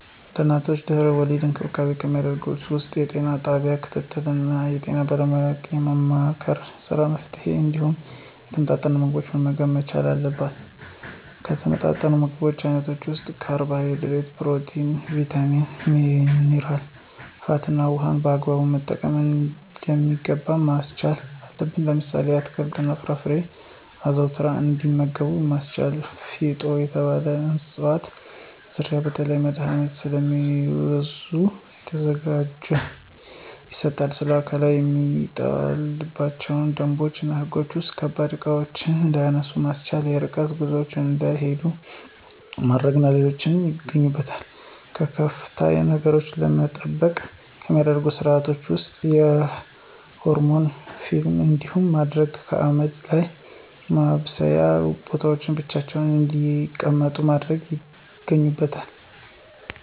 ለእናቶች ድህና-ወሊድ እንክብካቤ ከሚደረግላቸው ውስጥ የጤና ጣቢያ ክትትል እና የጤና ባለሙያዎችን የማማከር ስራ መሥራት እንዲሁም የተመጣጠኑ ምግቦችን መመገብ መቻል አለብን። ከተመጣጠኑ የምግብ አይነቶች ውስጥ ካርቦሀይድሬት፣ ፕሮቲን፣ ቭይታሚን፣ ሜነራ፣ ፋት እና ውሀን በአግባቡ በመመጠን እንዲመገቡ ማስቻል አለብን። ለምሳሌ፦ አትክልት እና ፍራፍሬዎችን አዘውትረው እንዲመገቡ ማስቻል። ፊጦ የተባለ እፅዋት ዝርያ ለተለያዩ መድሀኒቶች ስለሚውል ተዘጋጅቶ ይሰጣቸዋል። ስለአካላዊ ከሚጣልባቸው ገደቦች እና ህጎች ውስጥ ከባባድ እቃዎችን እንዳያነሱ ማስቻል፣ የርቀት ጉዞዎችን እንዳይሂዱ ማድረግ እና ሌሎች ይገኙበታል። ከክፉ ነገሮች ለመጠበቅ ከሚደረጉ ስርአቶች ውስጥ የሆረር ፊልም እንዳያዩ ማድረግ፣ ከአመድ ወይም ከማብሰያ ቦታዎች ብቻቸውን እንዳይቀመጡ ማድረግ ይገኙበታል።